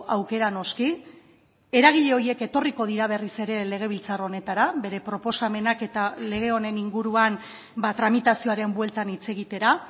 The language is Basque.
aukera noski eragile horiek etorriko dira berriz ere legebiltzar honetara bere proposamenak eta lege honen inguruan tramitazioaren bueltan hitz egitera